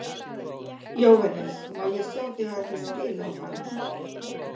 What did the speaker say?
Jóhannes: Má ég sjá þig aðeins spila á hana?